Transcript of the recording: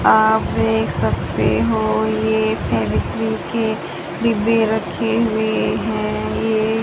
आप देख सकते हो यह फेवीक्विक के डिब्बे रखे हुए हैं ये--